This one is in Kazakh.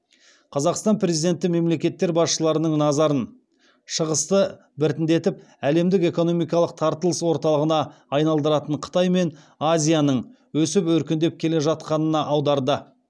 қазақстан президенті мемлекеттер басшыларының назарын шығысты біртіндеп әлемдік экономикалық тартылыс орталығына айналдыратын қытай мен азияның өсіп өркендеп келе жатқанына аударды